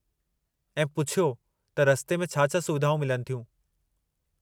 ऐं पूछियो त रस्ते में छा-छा सुविधाऊं मिलनि थियूं?